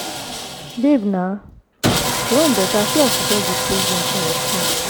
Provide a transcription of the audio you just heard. babe na your own beta see as you just dey play game for your phone